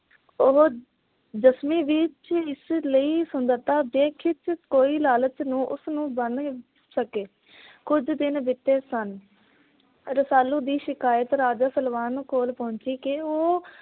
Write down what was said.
ਉਹ ਦਸਵੀਂ ਵਿੱਚ ਇਸ ਲਈ ਸੁੰਦਰਤਾ ਕੋਈ ਲਾਲਚ ਉਸਨੂੰ ਬੰਨ ਸਕੇ। ਕੁਝ ਦਿਨ ਬੀਤੇ ਸਨ। ਰਸਾਲੂ ਦੀ ਸ਼ਿਕਾਇਤ ਰਾਜਾ ਸਲਵਾਹਨ ਕੋਲ ਪਹੁੰਚੀ ਕੀ ਉਹ